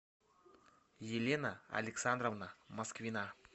елена александровна москвина